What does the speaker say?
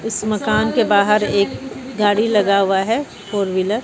इस मकान के बाहर एक गाड़ी लगा हुआ है फोर व्हीलर ।